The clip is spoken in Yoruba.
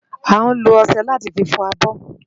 Ániló òṣè láti fi fò ábò